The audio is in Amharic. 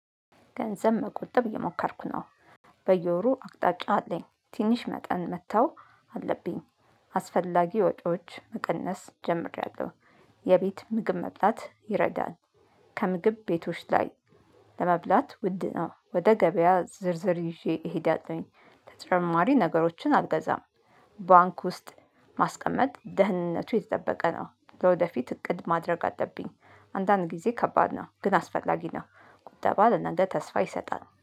ገንዘብ መቆጠብ እየሞከርኩ ነው። በየወሩ አቅጣጫ አለኝ። ትንሽ መጠን መተው አለብኝ። አስፈላጊ ወጪዎች መቀነስ ጀምሬያለሁ። የቤት ምግብ መብላት ይረዳል። ከምግብ ቤቶች ላይ ለመብላት ውድ ነው። ወደ ገበያ ዝርዝር ይዤ እሄዳለሁኝ። ተጨማሪ ነገሮችን አልገዛም። ባንክ ውስጥ ማስቀመጥ ደህንነቱ የተጠበቀ ነው። ለወደፊት እቅድ ማድረግ አለብኝ። አንዳንድ ጊዜ ከባድ ነው ግን አስፈላጊ ነው። ቁጠባ ለእናንተ ተስፋ ይሰጣል።